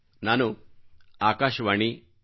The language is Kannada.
ನಾನು ಆಕಾಶವಾಣಿ ಎಫ್